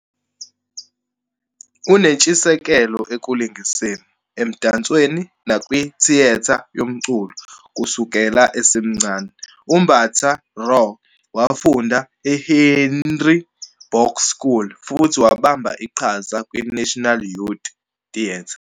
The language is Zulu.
Unentshisekelo ekulingiseni, emdansweni, nakwithiyetha yomculo kusukela esemncane, uMbatha-Raw wafunda e-Henry Box School futhi wabamba iqhaza kwiNational Youth Theatre.